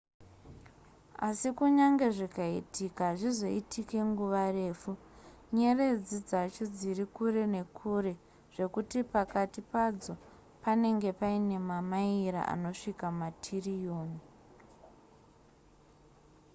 asi kunyange zvikaitika hazvizoitike nguva refu nyeredzi dzacho dziri kure nekure zvekuti pakati padzo panenge paine mamaira anosvika matririyoni